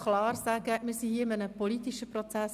Wir befinden uns hier in einem politischen Prozess.